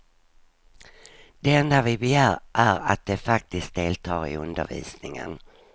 Det enda vi begär är att de faktiskt deltar i undervisningen.